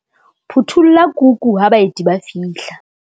Phuthulla kuku ha baeti ba fihla.